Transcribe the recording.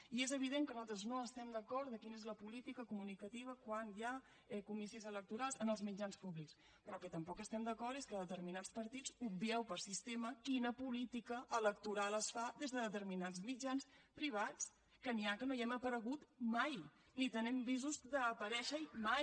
i és evident que nosaltres no estem d’acord amb el fet de quina és la política comunicativa quan hi ha comicis electorals en els mitjans públics però en el que tampoc estem d’acord és que determinats partits obvieu per sistema quina política electoral es fa des de determinats mitjans privats que n’hi ha que no hi hem aparegut mai ni tenim visos d’aparèixer hi mai